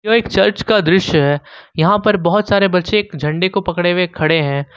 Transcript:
यह एक चर्च का दृश्य है यहां पर बहुत सारे बच्चे एक झंडे को पकड़े हुए खड़े हैं।